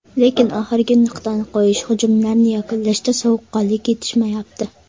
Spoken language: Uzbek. Lekin oxirgi nuqtani qo‘yish, hujumlarni yakunlashda sovuqqonlik yetishmayapti.